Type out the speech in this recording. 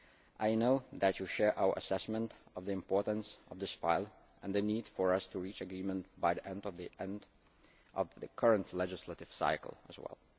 year. I know that you share our assessment of the importance of this file and the need for us to reach agreement by the end of the end of the current legislative cycle, as